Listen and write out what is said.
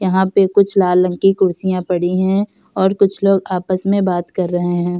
यहाँ पे कुछ लाल रंग की कुर्सियाँ पड़ी हैं और कुछ लोग आपस में बात कर रहे हैं।